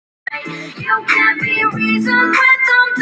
Mamma fór fram.